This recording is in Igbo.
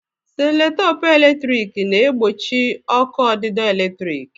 Seloteepu p eletrik na-egbochi ọkụ ọdidọ eletrik.